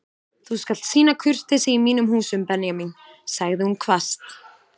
Þú skalt sýna kurteisi í mínum húsum Benjamín sagði hún hvasst.